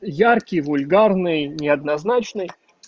яркий вульгарный неоднозначный